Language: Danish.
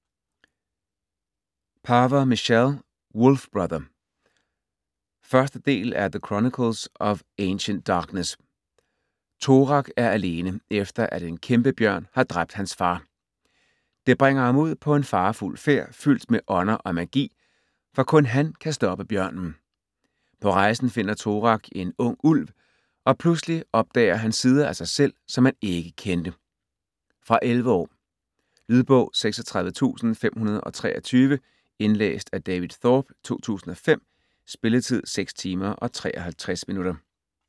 Paver, Michelle: Wolf brother 1. del af The chronicles of ancient darkness. Torak er alene, efter at en kæmpebjørn har dræbt hans far. Det bringer ham ud på en farefuld færd fyldt med ånder og magi, for kun han kan stoppe bjørnen. På rejsen finder Torak en ung ulv, og pludselig opdager han sider af sig selv, som han ikke kendte. Fra 11 år. Lydbog 36523 Indlæst af David Thorpe, 2005. Spilletid: 6 timer, 53 minutter.